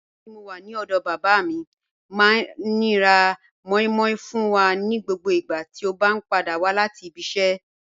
Nígbàtí mó wà ní ọdọ bàbá mi, máa ní rá mòí mòí fún wà ní gbogbo ìgbà tí o bá padà wà láti ìbí ìṣẹ.